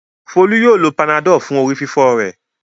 Folú yóò lo Panadol fún orí-fífọ́ rẹ̀.